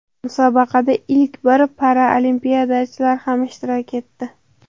Musobaqada ilk bor paralimpiyachilar ham ishtirok etdi.